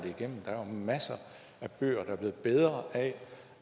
igennem der er masser af bøger der er blevet bedre af